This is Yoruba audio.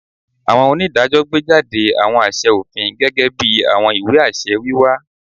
Awọn onidajọ gbejade awọn aṣẹ ofin, gẹgẹbi awọn iwe-aṣẹ wiwa